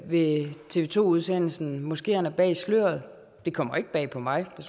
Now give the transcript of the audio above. ved tv to udsendelsen moskeerne bag sløret det kommer ikke bag på mig og